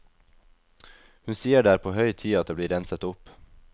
Hun sier det er på høy tid at det blir renset opp.